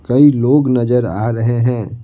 कई लोग नजर आ रहे है।